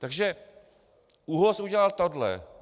Takže ÚOHS udělal tohle.